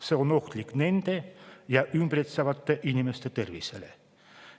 See on ohtlik tema ja teda ümbritsevate inimeste tervisele.